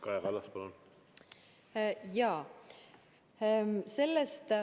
Kaja Kallas, palun!